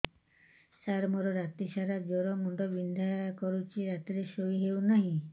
ସାର ମୋର ରାତି ସାରା ଜ୍ଵର ମୁଣ୍ଡ ବିନ୍ଧା କରୁଛି ରାତିରେ ଶୋଇ ହେଉ ନାହିଁ